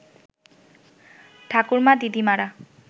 ঠাকুরমা দিদিমারা